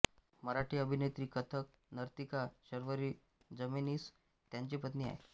मराठी अभिनेत्री कथक नर्तिका शर्वरी जमेनीस त्यांची पत्नी आहे